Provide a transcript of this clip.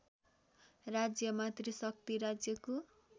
राज्यमा त्रिशक्ति राज्यको